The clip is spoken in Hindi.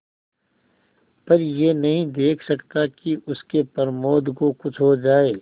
पर यह नहीं देख सकता कि उसके प्रमोद को कुछ हो जाए